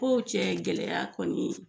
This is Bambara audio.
Oo cɛ gɛlɛyaya kɔni